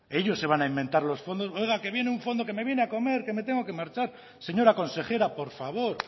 ellos se van a inventar los fondos oiga que me viene un fondo que me viene a comer que me tengo que marchar señora consejera por favor